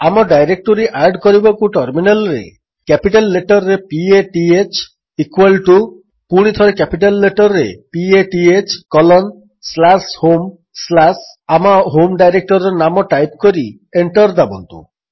ଆମ directory add କରିବାକୁ ଟର୍ମିନାଲ୍ରେ କ୍ୟାପିଟାଲ୍ ଲେଟର୍ରେ p a t h equal to ପୁଣିଥରେ କ୍ୟାପିଟାଲ୍ ଲେଟର୍ରେ p a t h colon slash home slash ଆମ ହୋମ୍ ଡାଇରେକ୍ଟୋରୀର ନାମ ଟାଇପ୍ କରି ଏଣ୍ଟର୍ ଦାବନ୍ତୁ